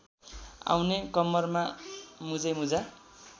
आउने कम्मरमा मुजैमुजा